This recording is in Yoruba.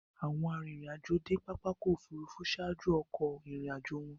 Awọn arinrin-ajo de pápá ọkọ̀ òfurufú ṣaaju akoko irin-ajo wọn